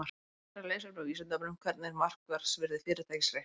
Frekara lesefni á Vísindavefnum: Hvernig er markaðsvirði fyrirtækis reiknað út?